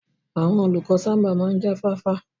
Àwọn olùkọ́ sábà máa ń jáfáfá